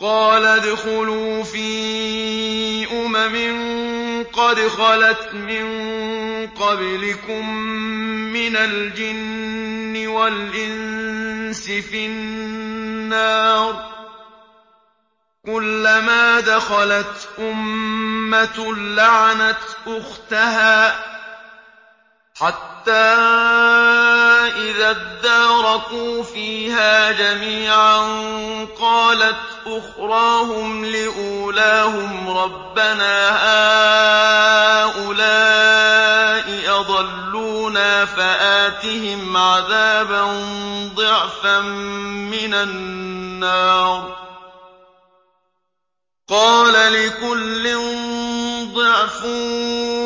قَالَ ادْخُلُوا فِي أُمَمٍ قَدْ خَلَتْ مِن قَبْلِكُم مِّنَ الْجِنِّ وَالْإِنسِ فِي النَّارِ ۖ كُلَّمَا دَخَلَتْ أُمَّةٌ لَّعَنَتْ أُخْتَهَا ۖ حَتَّىٰ إِذَا ادَّارَكُوا فِيهَا جَمِيعًا قَالَتْ أُخْرَاهُمْ لِأُولَاهُمْ رَبَّنَا هَٰؤُلَاءِ أَضَلُّونَا فَآتِهِمْ عَذَابًا ضِعْفًا مِّنَ النَّارِ ۖ قَالَ لِكُلٍّ ضِعْفٌ